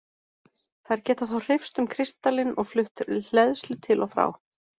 Þær geta þá hreyfst um kristallinn og flutt hleðslu til og frá.